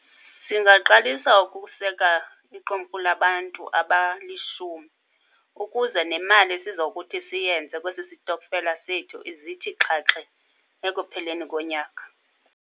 Singaqalisa ukuseka iqumrhu labantu abalishumi ukuze nemali esizokuthi siyenze kwesisitokfela sethu ize ithi xhaxhe ekupheleni konyaka.